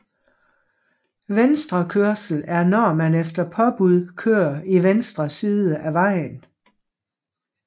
Venstrekørsel er når man efter påbud kører i venstre side af vejen